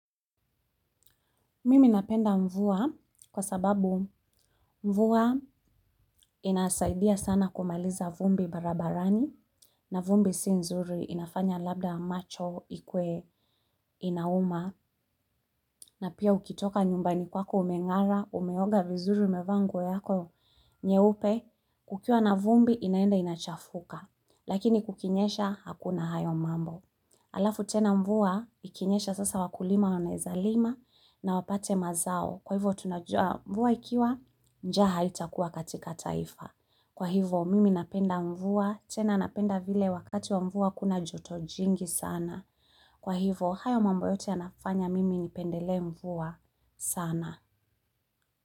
Mimi napenda mvua kwa sababu mvua inasaidia sana kumaliza vumbi barabarani na vumbi si nzuri inafanya labda macho ikuwe inauma na pia ukitoka nyumbani kwako umengara umeoga vizuri umevaa nguo yako nyeupe kukiwa na vumbi inaenda inachafuka lakini kukinyesha hakuna hayo mambo. Alafu tena mvua ikinyesha sasa wakulima wanaeza lima na wapate mazao. Kwa hivo tunajua mvua ikiwa njaa haitakuwa katika taifa. Kwa hivo mimi napenda mvua tena napenda vile wakati wa mvua kuna jotojingi sana. Kwa hivo hayo mambo yote yanafanya mimi ni pendelee mvua sana.